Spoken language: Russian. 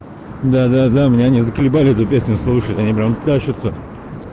да-да-да меня они заколебали эту песню слушать они прям тащутся